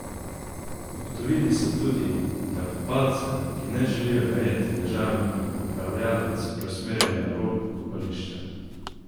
Ugotovili so tudi, da kopalce, ki ne želijo najeti ležalnika, upravljavec preusmerja na rob kopališča.